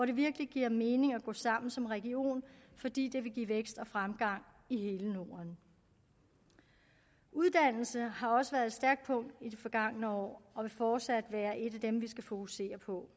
det virkelig giver mening at gå sammen om som region fordi det vil give vækst og fremgang i hele norden uddannelse har også været et stærkt punkt i det forgangne år og vil fortsat være et af dem vi skal fokusere på